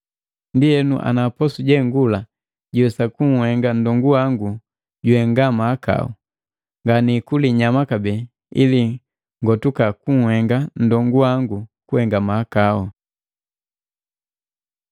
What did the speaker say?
Ndienu ana posu jengula jiwesa kunhenga nndongu wangu juhenga mahakau, nganikuli inyama kabee, ili ngotuka kunhenga nndongu wangu kuhenga mahakau.